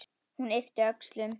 Hún ypptir öxlum.